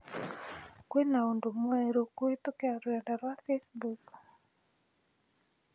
Kwina und mwerũkũhītũkīra rũrenda rũa facebook